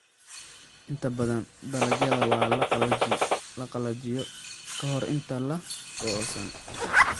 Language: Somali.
Inta badan dalagyada waa la qalajiyo ka hor inta aan la goosan.